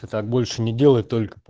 так больше не делай только